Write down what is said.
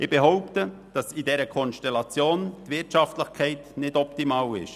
Ich behaupte, dass in dieser Konstellation die Wirtschaftlichkeit nicht optimal ist.